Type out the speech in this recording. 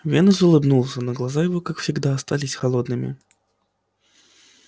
венус улыбнулся но глаза его как всегда остались холодными